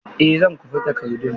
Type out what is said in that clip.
Eh zan kwafi takardun.